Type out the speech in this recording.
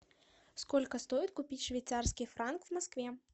сколько стоит купить швейцарский франк в москве